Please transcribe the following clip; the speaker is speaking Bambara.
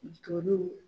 Toli